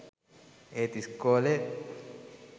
ඒත් ඉස්කෝලේ